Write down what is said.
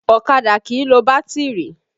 Ọ̀kadà kìí lo bátìrì